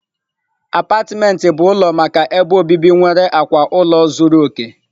Apátịment bụ ụlọ maka ebe obibi nwere akwa ụlọ zuru oke..